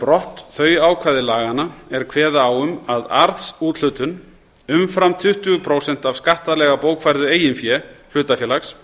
brott þau ákvæði laganna er kveða á um að arðsúthlutun umfram tuttugu prósent af skattalega bókfærðu eigin fé hlutafélags